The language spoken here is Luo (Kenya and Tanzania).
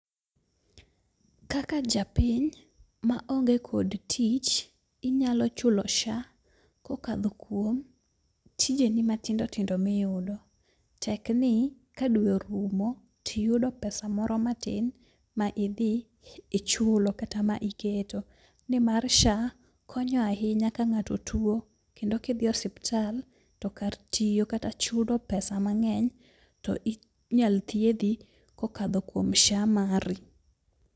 Kaka japiny ma onge kod tich, inyalo chulo SHA kokadho kuom tijeni matindo tindo miyudo. Tek ni ka dwe orumo tiyudo pesa moro matin ma idhi ichulo kata ma iketo. Ni mar SHA konyo ahinya ka ng'ato tuo, kendo kidhi osiptal to kar tiyo kata chulo pesa mang'eny, to inyal thiedho kokadho kuom SHA mari.